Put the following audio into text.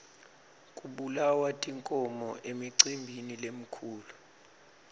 kubulawa tinkhomo emicimbini lemikhulu